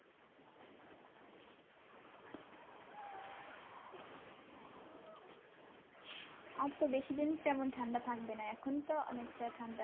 আর তো বেশিদিন তেমন ঠান্ডা থাকবে না এখন তো অনেকটা ঠান্ডা।